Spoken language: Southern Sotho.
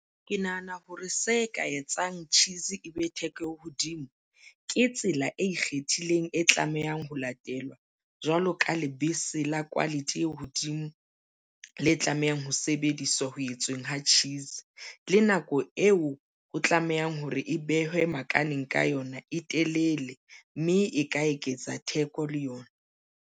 Ke nahana hore se ka etsang tjhisi e be theko e hodimo ke tsela e ikgethileng e tlamehang ho latelwa jwalo ka lebese la quality e hodimo le tlamehang ho sebediswa ho etsweng ha tjhisi le nako eo e tlamehang hore e behwe makaleng ka yona e telele mme e ka eketsa theko le yona.